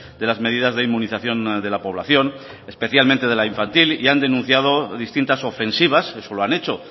de las medidas de inmunización de la población especialmente de la infantil y han denunciado distintas ofensivas eso lo han hecho